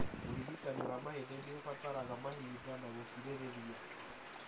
ũrigitani wa mahindĩ nĩũbataraga mahinda na gũkirĩrĩria